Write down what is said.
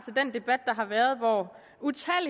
den debat der har været og